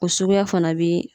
O suguya fana bi